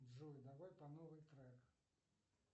джой давай по новой трек